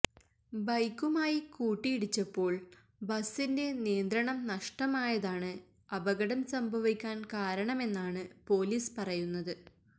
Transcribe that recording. ബൈക്കുമായി കുട്ടിയിടിച്ചപ്പോള് ബസിന്റെ നിയന്ത്രണം നഷ്ടമായതാണ് അപകടം സംഭവിക്കാന് കാരണമെന്നാണ് പോലീസ് പറയുന്നത്